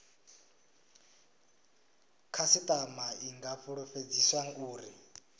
khasitama i nga fulufhedziswa uri